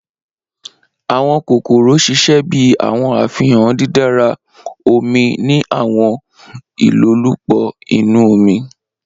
Awọn kokoro ṣiṣẹ bi awọn afihan didara omi ni awọn ilolupo inu omi.